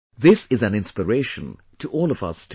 This is an inspiration to all of us too